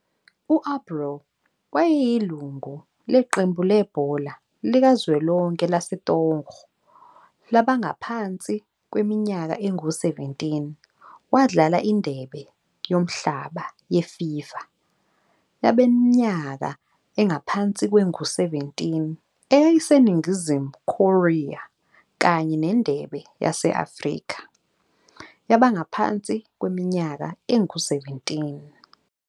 U-Abraw wayeyilungu leqembu lebhola likazwelonke laseTogo labangaphansi kweminyaka engu-17,wadlala iNdebe yoMhlaba yeFIFA yabaneminyaka engaphansi kwengu-17 eyayiseNingizimu Korea kanye neNdebe yase-Afrika yabangaphansi kweminyaka engu-17.